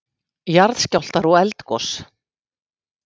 JARÐSKJÁLFTAR OG ELDGOS